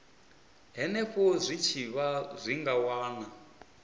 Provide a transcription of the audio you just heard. henefho zwitshavha zwi nga wana